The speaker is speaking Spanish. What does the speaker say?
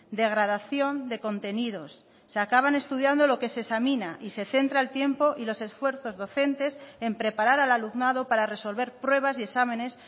degradación de contenidos se acaban estudiando lo que se examina y se centra el tiempo y los esfuerzos docentes en preparar al alumnado para resolver pruebas y exámenes